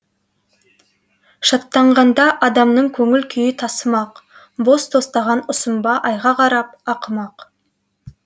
шаттанғанда адамның көңіл күйі тасымақ бос тостаған ұсынба айға қарап ақымақ